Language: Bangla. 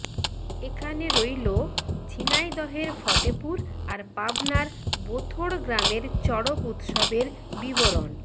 এখানে রইলো ঝিনাইদহের ফতেপুর আর পাবনার বোঁথড় গ্রামের চড়ক উৎসবের বিবরন